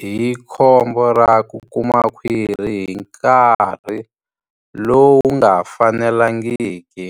hi khombo ra ku kuma khwiri hi nkarhi lowu nga fanelangiki.